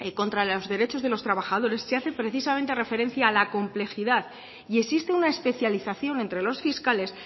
contra los derechos de los trabajadores se hace precisamente referencia a la complejidad y existe una especialización entre los fiscales